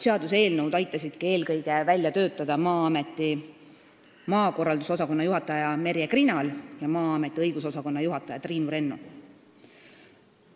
Seaduseelnõu aitasidki välja töötada eelkõige Maa-ameti maakorralduse osakonna juhataja Merje Krinal ja Maa-ameti õigusosakonna juhataja Triinu Rennu.